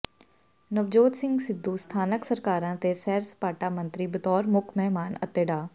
ਨਵਜੋਤ ਸਿੰਘ ਸਿੱਧੂ ਸਥਾਨਕ ਸਰਕਾਰਾਂ ਤੇ ਸੈਰ ਸਪਾਟਾ ਮੰਤਰੀ ਬਤੌਰ ਮੁੱਖ ਮਹਿਮਾਨ ਅਤੇ ਡਾ